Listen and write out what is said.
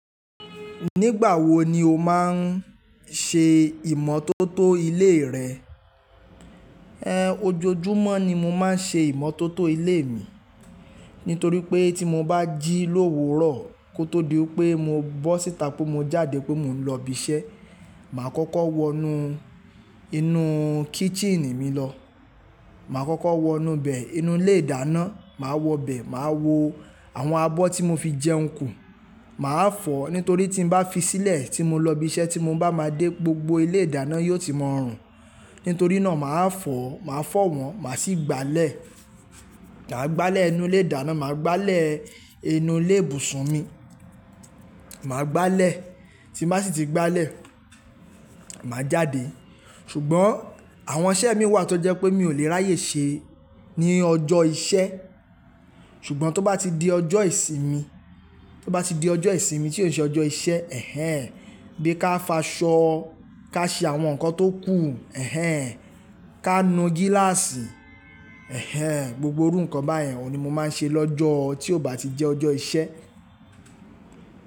Nígbà wo ni o máa ń ṣe ìmọ́tótó ilé rẹ ojoojúmọ́ ni mo máa ń ṣe ìmọ́tótó ilé mi nítorí pé tí mo bá jí lówu rọ, kó tó di wípé mo bọ́ síta pé mo jáde pé mo ń lọ ibi iṣẹ́, màá kọ́kọ́ wọnú inú kíchìnì mi lọ. Màá kọ́kọ́ wọnú bẹ, inú ilé ìdáná, màá wọ bẹ, màá wo àwọn abọ́ tí mo fi jẹun kù. Màá fọ̀, nítorí tí n bá fi sílẹ̀ tí mo lọ ibi iṣẹ́ tí mo bá máa dé gbogbo ilé ìdáná yóò ti mọ̀ rùn. Nítorí náà màá fọ̀, màá fọ́ wọn, màá sì gbálẹ̀. Màá gbálẹ̀ inú ilé ìdáná, màá gbálẹ̀ inú ilé ìbùsùn mi, màá gbálẹ̀. Tí m bá sì tí gbálẹ̀, màá jáde. Ṣùgbọ́n àwọn iṣẹ́ mi wà tó jẹ́ pé mi ò lè ráyè ṣe ní ọjọ́ iṣẹ́. Ṣùgbọ́n tó bá ti di ọjọ́ ìsinmi, tó bá ti di ọjọ́ ìsinmi tí ó ṣe ọjọ́ iṣẹ́, bi ká faṣọ, ká ṣe àwọn nǹkan tó kù, ká nu gíláàsì. Gbogbo irú nǹkan báyẹn òun ni mo máa ń ṣe lọ́jọ́ tí ò bá ti jẹ́ ọjọ́ iṣẹ́.